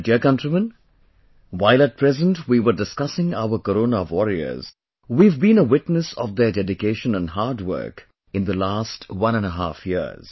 My dear countrymen, while at present we were discussing our 'Corona Warriors' we have been a witness of their dedication and hard work in the last one and a half years